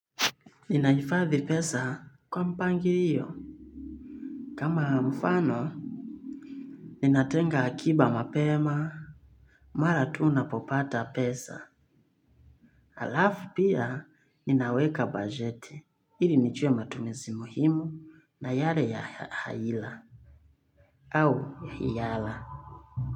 Ninahifadhi pesa kwa mpangilio. Kama mfano, ninatenga hakiba mapema. Mara tu unapopata pesa. Alafu pia, ninaweka bajeti. Ili nijue matumizi muhimu na yale haila au iyala.